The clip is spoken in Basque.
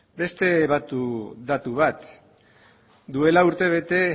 beste datu bat duela urtebete